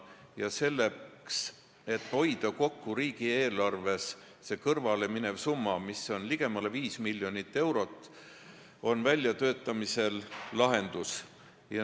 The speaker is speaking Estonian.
Ja selleks, et riigieelarvest nii suur summa kõrvale ei läheks – see on ligemale viis miljonit eurot –, on väljatöötamisel lahendus.